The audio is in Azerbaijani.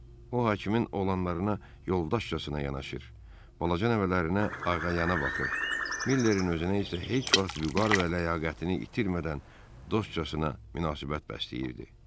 O hakimin olanlarına yoldaşcasına yanaşır, balaca nəvələrinə ağayanalı baxır, Millerin özünə isə heç vaxt vüqar və ləyaqətini itirmədən dostcasına münasibət bəsləyirdi.